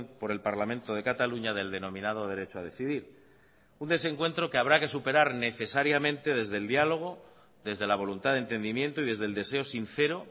por el parlamento de cataluña del denominado derecho a decidir un desencuentro que habrá que superar necesariamente desde el diálogo desde la voluntad de entendimiento y desde el deseo sincero